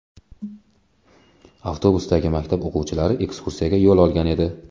Avtobusdagi maktab o‘quvchilari ekskursiyaga yo‘l olgan edi.